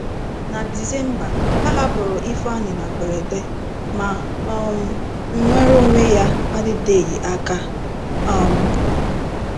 Na December, a hapụrụ Ifeanyị na mberede, ma um nnwere onwe ya adịteghị aka. um